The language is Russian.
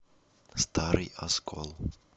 старый оскол